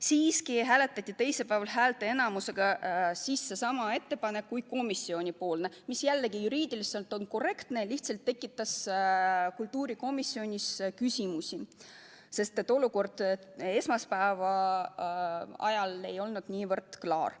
Siiski hääletati teisipäeval häälteenamusega sisse sama ettepanek kui komisjoni ettepanek, mis jällegi juriidiliselt on korrektne, aga tekitas kultuurikomisjonis küsimusi, sest esmaspäeval ei olnud olukord sugugi klaar.